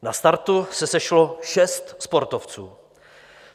Na startu se sešlo šest sportovců.